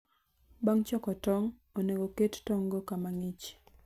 Bang' choko tong', onego oket tong'go kama ng'ich.